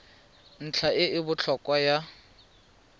ntlha e e botlhokwa ya